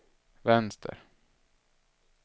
vänster